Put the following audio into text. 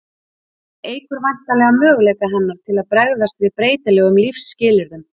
hún eykur væntanlega möguleika hennar til að bregðast við breytilegum lífsskilyrðum